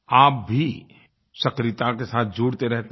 आप भी सक्रियता के साथ जुड़ते रहते हैं